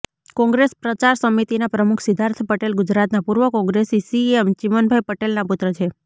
કોંગ્રેસ પ્રચાર સમિતિના પ્રમુખ સિદ્ધાર્થ પટેલ ગુજરાતના પૂર્વ કોંગ્રેસી સીએમ ચિમનભાઈ પટેલના પુત્ર છે